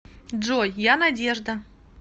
джой я надежда